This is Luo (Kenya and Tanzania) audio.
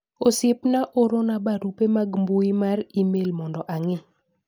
osiepna orona barupe mag mbui mar email mondo ang'i